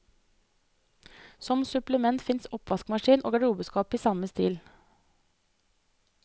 Som supplement fins oppvaskmaskin og garderobeskap i samme stil.